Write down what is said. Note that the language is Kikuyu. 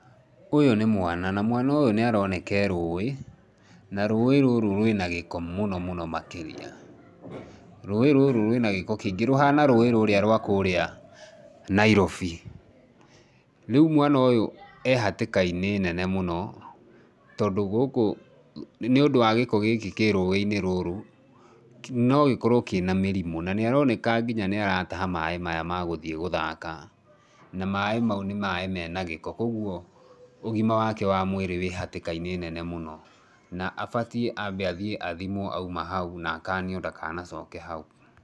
Ũyũ nĩ mwana na mwana ũyũ nĩaroneka erũĩ na rũĩ rũrũ rwina gĩko mũno mũno makĩrĩa, rũĩ rũrũ rwĩna gĩko kĩingĩ rũhana rũĩ rũrĩa rwa kũrĩa Nairobi ,rĩũ mwana ũyũ ehatĩkainĩ nene mũno nĩũndũ wa gĩko gĩkĩ kĩrũĩinĩ rũrũ nogĩkorwe kĩna mĩrimũ na nĩaroneka nginya nĩarataha maĩ maya magũthiĩ gũthaka na maĩ maũ nĩ maĩ menagĩko kwoguo ũgima wake wa mwĩrĩ wĩ hatĩkainĩ nene mũno na abatie abe athiĩ athimwo auma hau na akanio ndaganacoke hau.